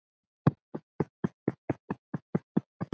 Öll kynin?